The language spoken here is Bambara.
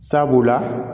Sabula